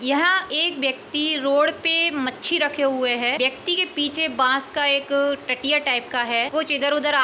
यहां एक व्यक्ति रोड पे मच्छी रखे हुए है। व्यक्ति के पीछे बांस का एक टटिया टाइप का है। कुछ इधर उधर याद --